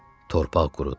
Torpaq qurudu.